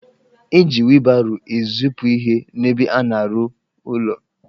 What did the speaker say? Eji wilbaro ezipu ihe n'ebe a na-arụ ụlọ